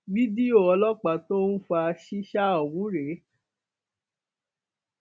fídíò ọlọpàá tó ń fa ṣíṣá ọhún rèé